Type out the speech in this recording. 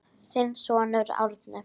Þinn sonur Árni.